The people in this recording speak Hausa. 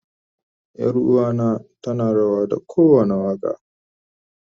Yaruwa na tana rawa da kowanda waka.